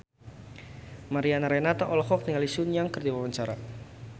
Mariana Renata olohok ningali Sun Yang keur diwawancara